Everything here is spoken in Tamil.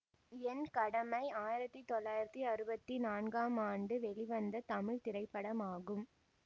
என் கடமை ஆயிரத்தி தொள்ளாயிரத்தி அறுபத்தி நான்காம் ஆண்டு வெளிவந்த தமிழ் திரைப்படமாகும்